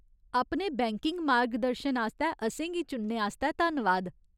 अपने बैंकिंग मार्गदर्शन आस्तै असेंगी चुनने आस्तै धन्नवाद।